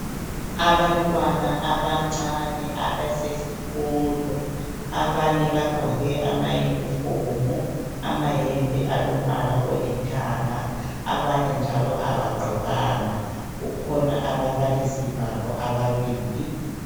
Abantwana abancane abasesikolo, abanye bagqoke amayunifomu, amayembe alombala olithanga, abanye njalo abagqokanga. Kukhona ababalisi babo ababili.